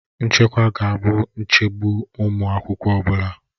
Nchekwa ga-abụ nchegbu ụmụ akwụkwọ ọ bụla